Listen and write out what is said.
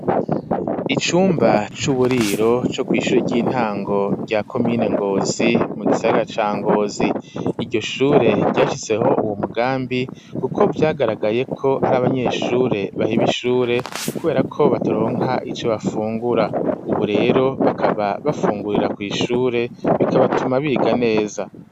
Icumba c'uburiro co kw'ishure ry'intango rya komine Ngozi, mu gisaga ca Ngozi, iryo shure ryashizeho uwo mugambi, kuko vyagaragaye ko hari abanyeshure baheba ishure kubera ko bataronka ico bafungura; ubu rero bakaba bafungurira kw'ishure bikabatuma biga neza.